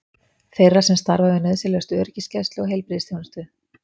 Þeirra sem starfa við nauðsynlegustu öryggisgæslu og heilbrigðisþjónustu.